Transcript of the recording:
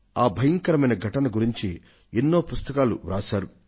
ఆ భయంకరమైన ఘటన గురించి ఎన్నో పుస్తకాలు రాశారు